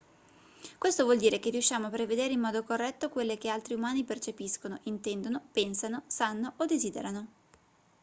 questo vuol dire che riusciamo a prevedere in modo corretto quelle che altri umani percepiscono intendono pensano sanno o desiderano